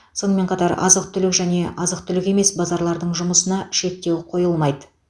сонымен қатар азық түлік және азық түлік емес базарлардың жұмысына шектеу қойылмайды